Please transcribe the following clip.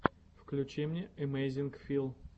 включи мне эмэйзинг фил